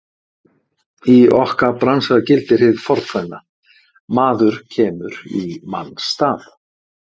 Í okkar bransa gildir hið fornkveðna: Maður kemur í manns stað.